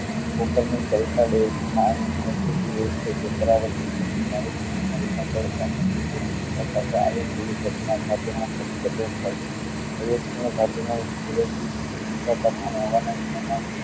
paper માં ઊંચા તાપમાન હવામાન માં